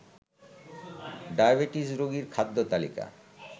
diabetes রোগীর খাদ্য তালিকা